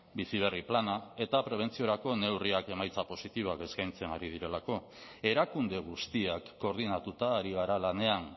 bizi berri plana eta prebentziorako neurriak emaitza positiboak eskaintzen ari direlako erakunde guztiak koordinatuta ari gara lanean